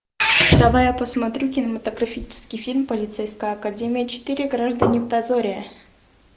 давай я посмотрю кинематографический фильм полицейская академия четыре граждане в дозоре